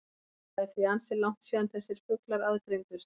Það er því ansi langt síðan þessir fuglar aðgreindust.